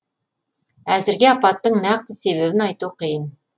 әзірге апаттың нақты себебін айту қиын